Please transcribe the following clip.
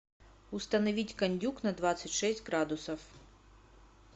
установить кондюк на двадцать шесть градусов